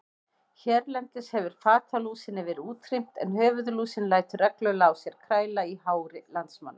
Hérlendis hefur fatalúsinni verið útrýmt en höfuðlúsin lætur reglulega á sér kræla í hári landsmanna.